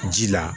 Ji la